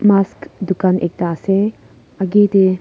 mas dukan ekta ase agey tey--